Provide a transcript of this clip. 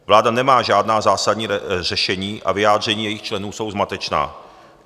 Vláda nemá žádná zásadní řešení a vyjádření jejích členů jsou zmatečná.